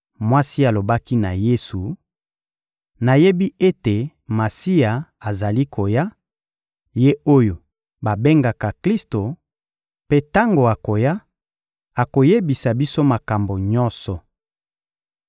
Mwasi alobaki na Yesu: — Nayebi ete Masiya azali koya, Ye oyo babengaka Klisto; mpe tango akoya, akoyebisa biso makambo nyonso.